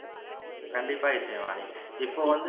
கண்டிப்பா இசைவாணி இப்போ வந்து